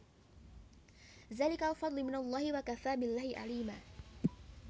Zalikal fadlu minallahi wakafa billahi alima